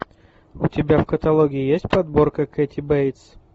у тебя в каталоге есть подборка кэти бейтс